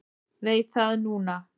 Veit það núna.